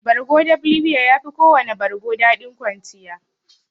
Bargo dab libiya yafi kowana bargo daɗin kwanciya.